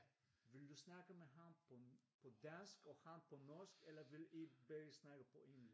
Vil du snakke med ham på dansk og ham på norsk eller ville i begge snakke på engelsk?